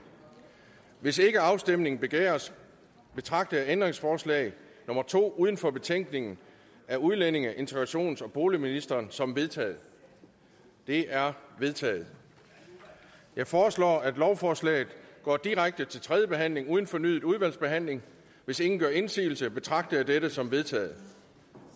hvis ikke afstemning begæres betragter jeg ændringsforslag nummer to uden for betænkningen af udlændinge integrations og boligministeren som vedtaget det er vedtaget jeg foreslår at lovforslaget går direkte til tredje behandling uden fornyet udvalgsbehandling hvis ingen gør indsigelse betragter jeg dette som vedtaget